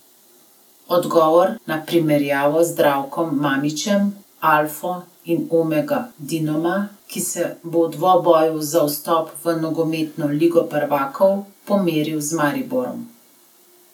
Odgovor na primerjavo z Zdravkom Mamićem, alfo in omego Dinama, ki se bo v dvoboju za vstop v nogometno Ligo prvakov pomeril z Mariborom.